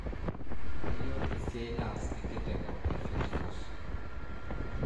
Kanyio esiai naas enkitengo e field force?